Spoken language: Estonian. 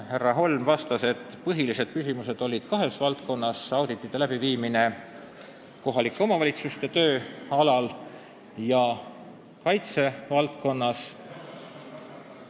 Janar Holm vastas, et põhiliselt küsiti kahe valdkonna kohta: kohalike omavalitsuste töö auditeerimine ja auditid kaitsevaldkonnas.